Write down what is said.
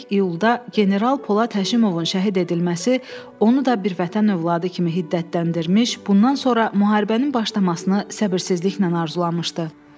12 iyulda general Polad Həşimovun şəhid edilməsi onu da bir vətən övladı kimi hiddətləndirmiş, bundan sonra müharibənin başlamasını səbirsizliklə arzulamışdı.